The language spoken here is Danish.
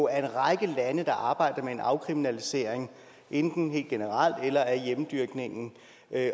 er en række lande der arbejder med en afkriminalisering enten helt generelt eller af hjemmedyrkning